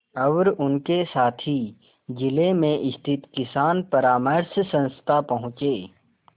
और उनके साथी जिले में स्थित किसान परामर्श संस्था पहुँचे